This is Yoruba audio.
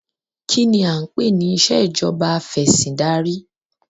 Kínní a ń pè ní ìsèjọba afẹ̀sindarí?